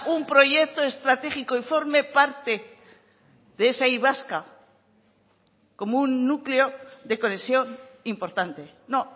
un proyecto estratégico y forme parte de esa y vasca como un núcleo de conexión importante no